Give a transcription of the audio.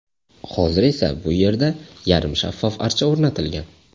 Hozir esa bu yerda yarim shaffof archa o‘rnatilgan.